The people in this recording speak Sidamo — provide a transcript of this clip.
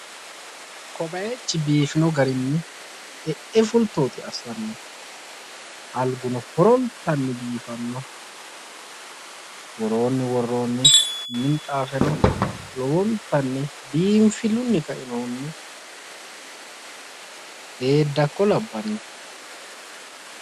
Ko bayiichi biifino garinni e"e fultooti assanno alguno horonta biifanno, woroonnino woroonni minxaafe lowontanni biinfillunni ka'inohunni beeddakko labbanno.